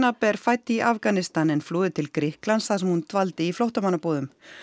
er fædd í Afganistan en flúði til Grikklands þar sem hún dvaldi í flóttamannabúðum